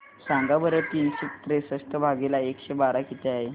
सांगा बरं तीनशे त्रेसष्ट भागीला एकशे बारा किती आहे